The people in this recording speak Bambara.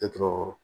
Tɛ tɔɔrɔ